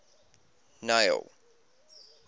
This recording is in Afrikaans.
neil